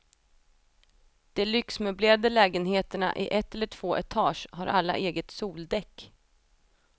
De lyxmöblerade lägenheterna i ett eller två etage har alla eget soldäck.